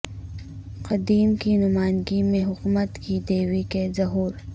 قدیم کی نمائندگی میں حکمت کی دیوی کے ظہور